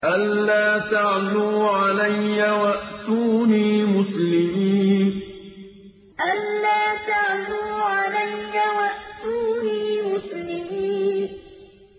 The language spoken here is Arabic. أَلَّا تَعْلُوا عَلَيَّ وَأْتُونِي مُسْلِمِينَ أَلَّا تَعْلُوا عَلَيَّ وَأْتُونِي مُسْلِمِينَ